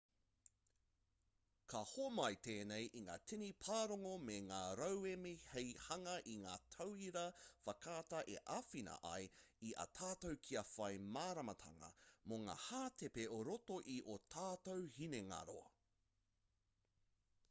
ka homai tēnei i ngā tini pārongo me ngā rauemi hei hanga i ngā tauira whakaata e āwhina ai i a tātou kia whai māramatanga mō ngā hātepe o roto i ō tātou hinengaro